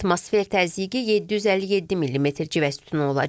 Atmosfer təzyiqi 757 millimetr civə sütunu olacaq.